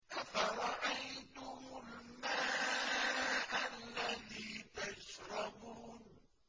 أَفَرَأَيْتُمُ الْمَاءَ الَّذِي تَشْرَبُونَ